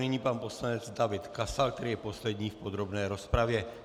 Nyní pan poslanec David Kasal, který je poslední v podrobné rozpravě.